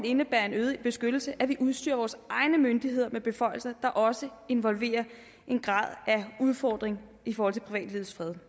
indebærer en øget beskyttelse at vi udstyrer vores egne myndigheder med beføjelser der også involverer en grad af udfordring i forhold til privatlivets fred